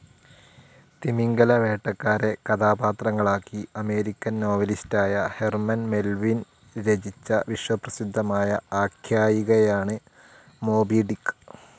തിമിംഗിലവേട്ടക്കാരെ കഥാപാത്രങ്ങളാക്കി അമേരിക്കൻ നോവലിസ്റ്റായ Herman Melville രചിച്ച വിശ്വപ്രസിദ്ധമായ ആഖ്യായികയാണ് മോബി ഡിക്ക്.